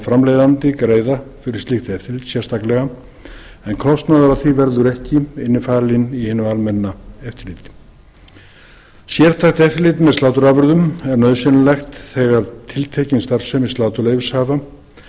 framleiðandi greiða fyrir slíkt eftirlit sérstaklega en kostnaður af því verði ekki innifalinn í hinu almenna eftirliti sértækt eftirlit með sláturafurðum er nauðsynlegt þegar tiltekin starfsemi sláturleyfishafa